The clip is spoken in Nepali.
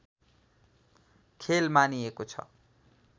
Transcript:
खेल मानिएको छ